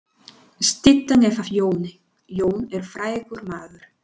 Styttan er af Jóni. Jón er frægur maður.